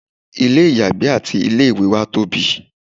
ilé ìyàgbẹ́ àti ilé ìwẹ̀ wá tóbi